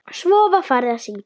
Svo var farið að syngja.